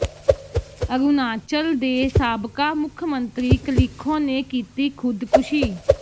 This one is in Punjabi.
ਅਰੁਣਾਚਲ ਦੇ ਸਾਬਕਾ ਮੁੱਖ ਮੰਤਰੀ ਕਲਿਖੋ ਨੇ ਕੀਤੀ ਖ਼ੁਦਕੁਸ਼ੀ